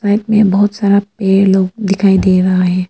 Back में बहोत सारा पे लोग दिखाई दे रहा है।